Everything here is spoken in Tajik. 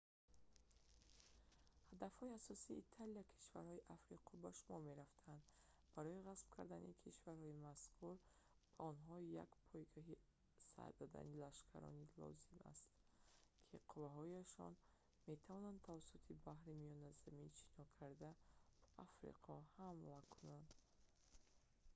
ҳадафҳои асосии италия кишварҳои африқо ба шумор мерафтанд барои ғасб кардани кишварҳои мазкур ба онҳо як пойгоҳи сар додани лашкарон лозим астто ки қувваҳояшон тавонанд тавассути баҳри миёназамин шино карда ба африқо ҳамла кунанд